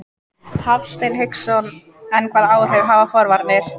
Hafsteinn Hauksson: En hvaða áhrif hafa forvarnir?